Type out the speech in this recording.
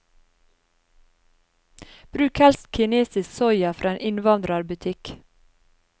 Bruk helst kinesisk soya fra en innvandrerbutikk.